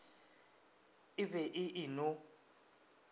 e be e e no